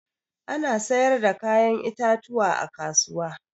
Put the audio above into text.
Ana sayar da kayan itatuwa a kasuwa.